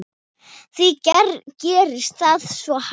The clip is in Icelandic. Hví gerist það svo hægt?